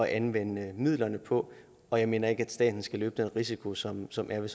anvende midlerne på og jeg mener ikke at staten skal løbe den risiko som som er